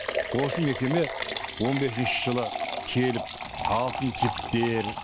осы мекеме он бесінші жылы келіп алтын жіптер